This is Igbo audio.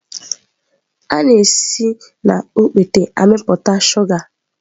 A na-esi na okpete na-amịpụta shuga.